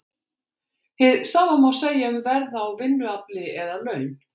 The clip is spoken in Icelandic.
Hið sama má segja um verð á vinnuafli eða laun.